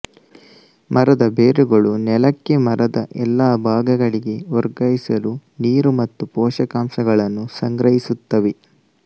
ಮರದ ಬೇರುಗಳು ನೆಲಕ್ಕೆ ಮರದ ಎಲ್ಲಾ ಭಾಗಗಳಿಗೆ ವರ್ಗಾಯಿಸಲು ನೀರು ಮತ್ತು ಪೋಷಕಾಂಶಗಳನ್ನು ಸಂಗ್ರಹಿಸುತ್ತವೆ